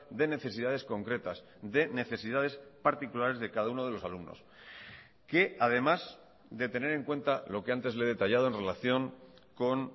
de necesidades concretas de necesidades particulares de cada uno de los alumnos que además de tener en cuenta lo que antes le he detallado en relación con